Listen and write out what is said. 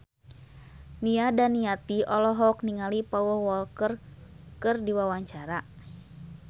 Nia Daniati olohok ningali Paul Walker keur diwawancara